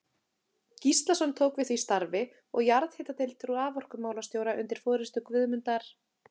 Gíslason tók við því starfi, og jarðhitadeild raforkumálastjóra undir forystu Guðmundar